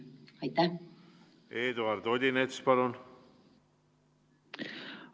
Eduard Odinets, palun!